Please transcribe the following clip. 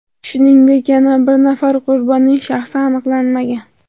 Shuningdek, yana bir nafar qurbonning shaxsi aniqlanmagan.